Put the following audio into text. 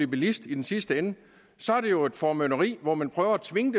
bilist i den sidste ende så er det jo et formynderi hvor man prøver at tvinge